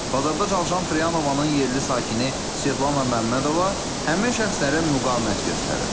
Bazarda çalışan Fryanovanın yerli sakini Svetlana Məmmədova həmin şəxslərə müqavimət göstərib.